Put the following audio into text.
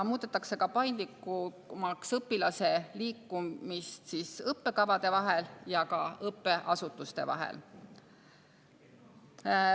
Muudetakse paindlikumaks õpilase liikumist õppekavade ja ka õppeasutuste vahel.